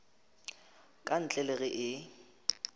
ka ntle le ge e